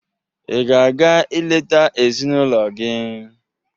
Ị ga-aga eleta ezinụlọ gị?